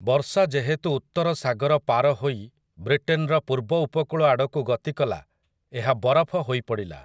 ବର୍ଷା ଯେହେତୁ ଉତ୍ତର ସାଗର ପାର ହୋଇ ବ୍ରିଟେନର ପୂର୍ବ ଉପକୂଳ ଆଡ଼କୁ ଗତିକଲା, ଏହା ବରଫ ହୋଇ ପଡ଼ିଲା ।